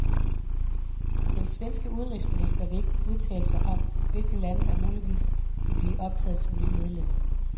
Den svenske udenrigsminister vil ikke udtale sig om, hvilke lande der muligvis vil blive optaget som nye medlemmer.